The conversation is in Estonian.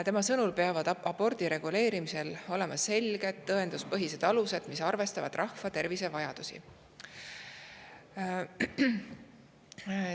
Tema sõnul peavad abordi reguleerimisel olema selged tõenduspõhised alused, mis arvestavad rahvatervise vajadustega.